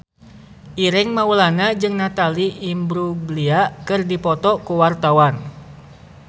Ireng Maulana jeung Natalie Imbruglia keur dipoto ku wartawan